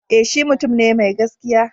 E, shi mutum ne mai gaskiya.